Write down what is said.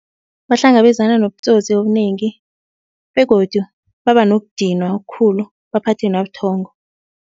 Bahlangabezana nobutsotsi obunengi begodu baba nokudinwa okukhulu baphathwe nabuthongo.